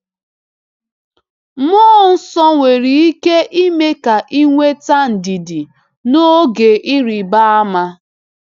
Mmụọ Nsọ nwere ike ime ka ị nweta ndidi n’oge ịrịba ama.